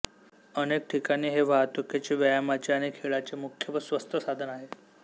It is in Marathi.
अनेक ठिकाणी हे वाहतुकीचे व्यायामाचे आणि खेळाचे मुख्य व स्वस्त साधन आहे